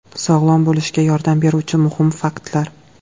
Sog‘lom bo‘lishga yordam beruvchi muhim faktlar.